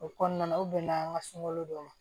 O kɔnɔna na u bɛnna an ka sunkalo dɔn